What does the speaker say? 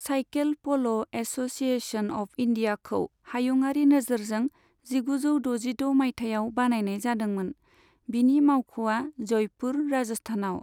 Cycle polo association of इण्डियाखौ हायुङारि नोजोरजों जिगुजौ द'जिद' मायथाइयाव बानायनाय जादोंमोन, बिनि मावख'आ जयपुर, राजस्थानआव।